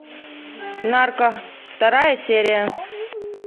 нарко вторая серия